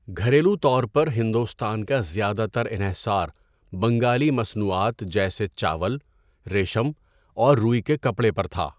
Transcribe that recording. گھریلو طور پر ہندوستان کا زیادہ تر انحصار بنگالی مصنوعات جیسے چاول، ریشم اور روئی کے کپڑے پر تھا۔